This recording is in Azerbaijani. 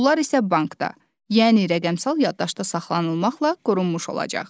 Pullar isə bankda, yəni rəqəmsal yaddaşda saxlanılmaqla qorunmuş olacaq.